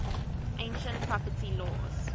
ancient property laws